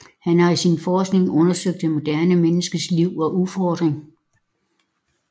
Han har i sin forskning undersøgt det moderne menneskes liv og udfordringer